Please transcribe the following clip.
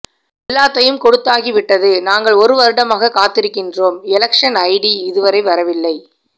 எல்லாத்தையும் கொடுத்தாகி விட்டது நாங்கள் ஒரு வருடமாக காத்திருக்கின்றோம் எலெக்ஷன் ஐ டி இதுவரை வரவில்லை